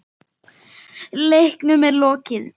Leiknum er lokið.